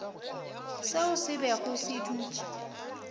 seo se bego se dutše